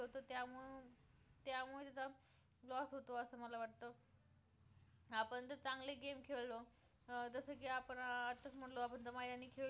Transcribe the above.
आपण जर चांगले game खेळलो अं जसं की आपण आताच म्हंटलो आपण दम्यानी खेळ खेळलो